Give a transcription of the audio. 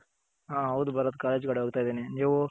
ಹ ಹೌದು ಭರತ್ ಕಾಲೇಜ್ ಕಡೆ ಹೋಗ್ತಿದೀನಿ